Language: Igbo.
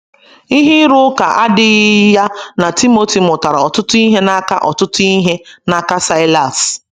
Ihe ịrụ ụka adịghị ya na Timoti mụtara ọtụtụ ihe n’aka ọtụtụ ihe n’aka Saịlas.